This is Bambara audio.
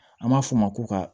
An b'a f'o ma ko ka